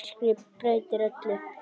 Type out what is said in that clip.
Myrkrið breytir öllu.